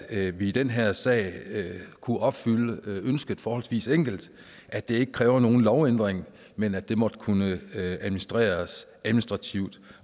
at vi i den her sag kunne opfylde ønsket forholdsvis enkelt og at det ikke kræver nogen lovændring men at det måtte kunne administreres